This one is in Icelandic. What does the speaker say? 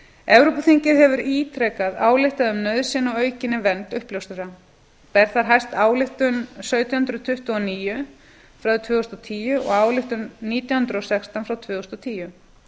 evrópuþingið hefur ítrekað ályktað um nauðsyn á aukinni vernd uppljóstrara ber þar hæst ályktun sautján hundruð tuttugu og níu frá því tvö þúsund og tíu og ályktun nítján hundruð og sextán frá tvö þúsund og tíu